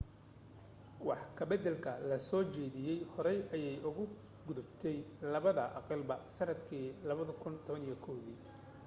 wax ka baddalka la soo jeediyay horey ayay uga gudubtay labada aqalba sannadkii 2011